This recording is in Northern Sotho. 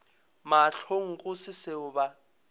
mahlong go se seo ba